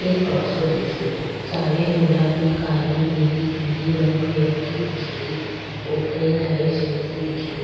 एक बक्सों दिखे रो साड़ीया गुलाबी काली नीली पिली रंग बिरंगी दिखे री ऊपरे लाइट जलती दिखे री।